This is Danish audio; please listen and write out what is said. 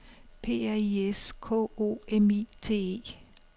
P R I S K O M I T E